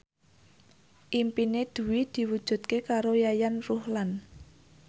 impine Dwi diwujudke karo Yayan Ruhlan